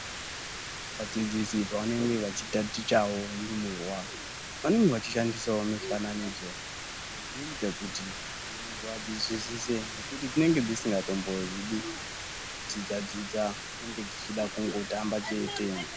Vadzidzisi pavanenge vachitatichawo ndumurwa vanenge vachishandisawo mifananidzo inoita kuti vazvinzwisise nekuti dzinenge dzisingatombozvidi zvekudzidzadzidza dzinenge dzichida kungotamba chete.